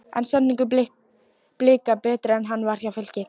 Er samningur Blika betri en hann var hjá Fylki?